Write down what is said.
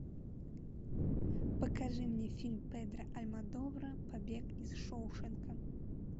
покажи мне фильм педро альмодовара побег из шоушенка